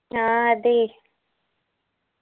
ആ അതേയ്